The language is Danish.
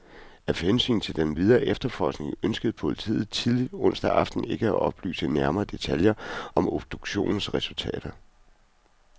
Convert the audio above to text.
Af hensyn til den videre efterforskning ønskede politiet tidligt onsdag aften ikke at oplyse nærmere detaljer om obduktionens resultater.